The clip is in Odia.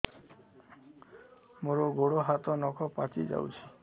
ମୋର ଗୋଡ଼ ହାତ ନଖ ପାଚି ଯାଉଛି